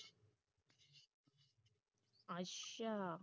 ਅੱਛਾ